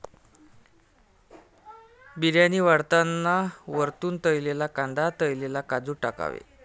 बिर्याणी वाढताना वरतून तळलेला कांदा तळलेले काजू टाकावे.